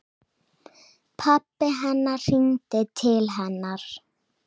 Pabbi hennar hringdi til hennar.